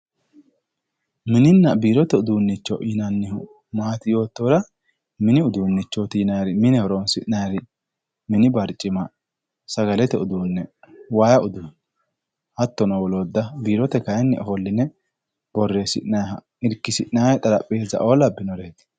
Mininna biirote uduunicho yinnannihu maati yoottohura mini uduunichoti mine horonsi'nannire mini barcima sagalete uduune waayi uduune hattono wolootta biirote kayinni borreesi'nayi irkisi'nanni xarapheza lawinore.